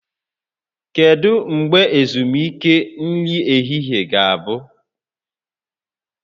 Kedu mgbe ezumike nri ehihie ga-abụ?